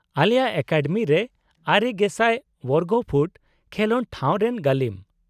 -ᱟᱞᱮᱭᱟᱜ ᱮᱠᱟᱰᱮᱢᱤ ᱨᱮ ᱙,᱐᱐᱐ ᱵᱚᱨᱜᱚ ᱯᱷᱩᱴ ᱠᱷᱮᱞᱚᱰ ᱴᱷᱟᱶ ᱨᱮᱱ ᱜᱟᱹᱞᱤᱢ ᱾